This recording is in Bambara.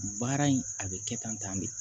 Baara in a bɛ kɛ tan tan de